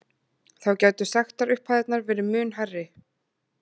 Þá gætu sektarupphæðirnar verði mun hærri